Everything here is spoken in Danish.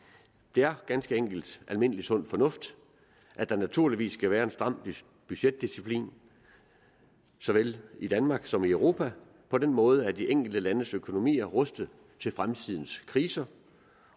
det er ganske enkelt almindelig sund fornuft at der naturligvis skal være en stram budgetdisciplin såvel i danmark som i europa på den måde at de enkelte landes økonomier er rustet til fremtidens kriser